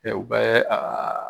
Ɛ u bɛ aa